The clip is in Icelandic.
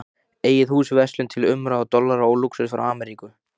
Eigið hús, verslun til umráða, dollara og lúxus frá Ameríku.